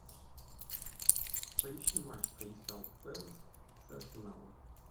поищи матч кристал пэлас с арсеналом